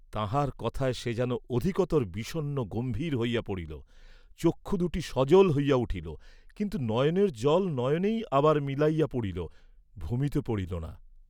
তাঁহার কথায় সে যেন অধিকতর বিষণ্ন গম্ভীর হইয়া পড়িল, চক্ষু দুটি সজল হইয়া উঠিল, কিন্তু নয়নের জল নয়নেই আবার মিলাইয়া পড়িল, ভূমিতে পড়িল না।